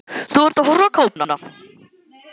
Þú ert að horfa á kápuna.